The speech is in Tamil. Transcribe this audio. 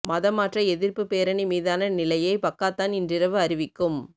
மதம் மாற்ற எதிர்ப்புப் பேரணி மீதான நிலையை பக்காத்தான் இன்றிரவு அறிவிக்கும்